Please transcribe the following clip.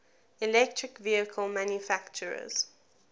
electric vehicle manufacturers